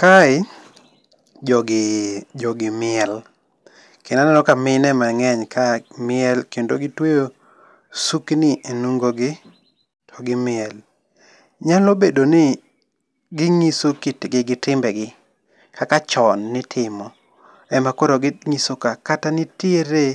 Kae, jogi ,jogi miel kendo aneno ka mine ema nge'ny kae, miel kendo gitweyo sukni e onungo gi to gi miel, nyalo bed ni ginyiso kitgi gi timbegi kaka chon nitimo, emakoro ginyiso ka. Kata nitiere